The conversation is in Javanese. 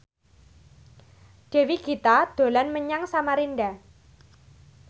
Dewi Gita dolan menyang Samarinda